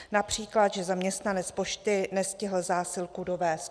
Například že zaměstnanec pošty nestihl zásilku dovézt.